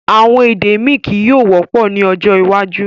Awọn èdè mi kíí yọ̀ọ̀ wọ́pọ̀ ni ọjọ́ iwájú